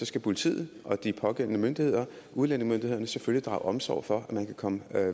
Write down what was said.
skal politiet og de pågældende myndigheder udlændingemyndighederne selvfølgelig drage omsorg for at man kan komme